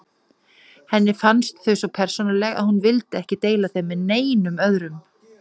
Henni fannst þau svo persónuleg að hún vildi ekki deila þeim með neinum öðrum.